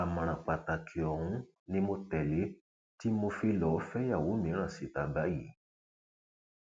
àmọràn pàtàkì ọhún ni mo tẹlé tí mo fi lọọ fẹyàwó mìíràn síta báyìí